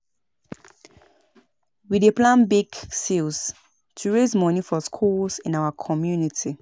We dey plan bake sales to raise money for schools in our community.